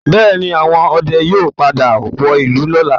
Bẹ́ẹ̀́ẹ̀ ni, àwọn ọdẹ yóò padà wọ ìlú lọ́la